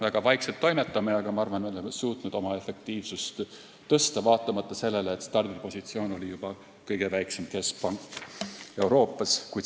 Väga vaikselt toimetame, aga ma arvan, et me oleme suutnud oma efektiivsust tõsta, vaatamata sellisele stardipositsioonile, et oleme kõige väiksem keskpank Euroopas.